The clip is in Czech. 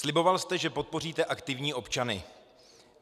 Sliboval jste, že podpoříte aktivní občany.